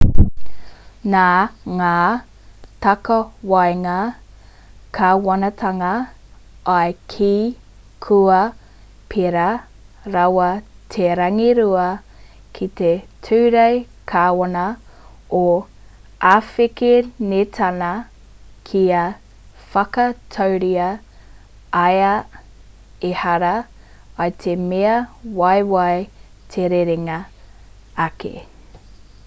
nā ngā takawaenga kāwanatanga i kī kua pērā rawa te rangirua ki te ture kāwana o āwhekenetāna kia whakatauria ai ehara i te mea waiwai te rerenga ake